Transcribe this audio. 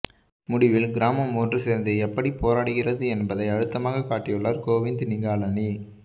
முடிவில் கிராமம் ஒன்று சேர்ந்து எப்படிப் போராடுகிறது என்பதை அழுத்தமாகக் காட்டியுள்ளார் கோவிந்த் நிகாலனி